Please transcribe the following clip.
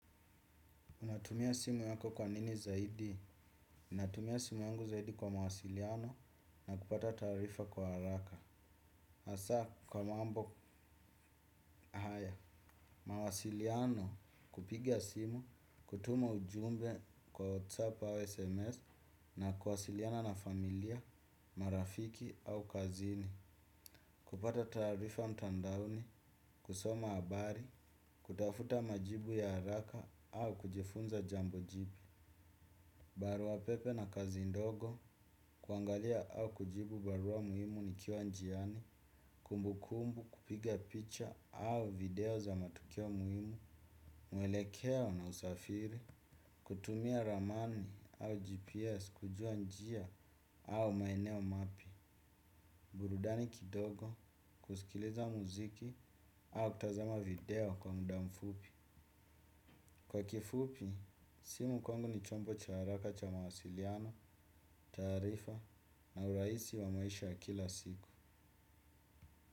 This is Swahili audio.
Unatumia simu yako kwa nini zaidi. Unatumia simu yungu zaidi kwa mawasiliano na kupata tarifa kwa haraka. Asa kwa mambo aya mawasiliano kupigia simu, kutuma ujumbe kwa WhatsApp au SMS na kwasiliana na familia, marafiki au kazini. Kupata tarifa mtandaoni, kusoma abari, kutafuta majibu ya haraka au kujifunza jambojipia. Barua pepe na kazi ndogo kuangalia au kujibu barua muhimu nikiwa njiani, kumbukumbu, kupiga picha au video za matukio muhimu, mwelekeo na usafiri, kutumia ramani au GPS kujua njia au maeneo mapya burudani kidogo, kusikiliza muziki au kutazama video kwa muda mfupi. Kwa kifupi, si mkongo ni chombo cha haraka cha mawasiliano, taarifa na urahisi wa maisha ya kila siku.